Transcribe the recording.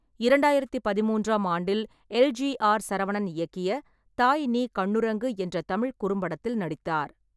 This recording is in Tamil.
இரண்டாயிரத்தி பதிமூன்றாம் ஆண்டில், எல். ஜி. ஆர். சரவணன் இயக்கிய தாய் நீ கண்ணுரங்கு என்ற தமிழ்க் குறும்படத்தில் நடித்தார்.